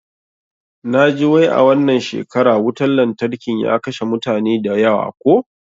Naji wai a wannan shekara wutan lantarkin ya kashe mutane da yawa ko?